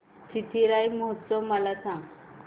चिथिराई महोत्सव मला सांग